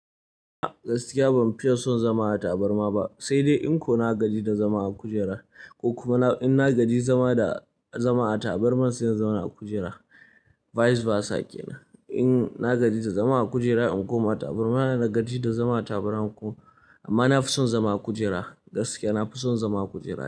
A gaskiya ban fiye son zama a tabarma ba, sai dai in ko na gaji da zama a kujera ko kuma in na gaji zama da zama a tabarma sai na zauna a kujera. Vice versa kenan. In na gaji da zama a kujera in koma tabarma. In na gaji da zama a tabarma ko amma na fi son zama a kujera. Gaskiya na fi son zama a kujera.